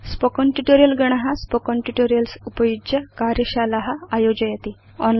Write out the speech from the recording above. spoken tutorial गण spoken tutorials उपयुज्य कार्यशाला आयोजयति